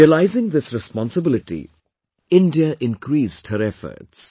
Realising this responsibility, India increased her efforts